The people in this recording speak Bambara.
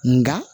Nga